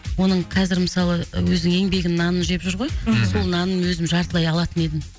оның қазір мысалы өзінің еңбегінің нанын жеп жүр ғой мхм сол нанын өзім жартылай алатын едім